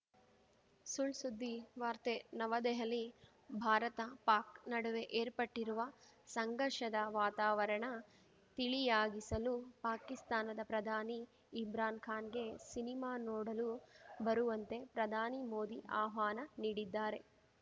ಸುಳ್‌ಸುದ್ದಿ ವಾರ್ತೆ ನವದೆಹಲಿ ಭಾರತಪಾಕ್‌ ನಡುವೆ ಏರ್ಪಟ್ಟಿರುವ ಸಂಘರ್ಷದ ವಾತಾವರಣ ತಿಳಿಯಾಗಿಸಲು ಪಾಕಿಸ್ತಾನದ ಪ್ರಧಾನಿ ಇಮ್ರಾನ್‌ ಖಾನ್‌ಗೆ ಸಿನಿಮಾ ನೋಡಲು ಬರುವಂತೆ ಪ್ರಧಾನಿ ಮೋದಿ ಆಹ್ವಾನ ನೀಡಿದ್ದಾರೆ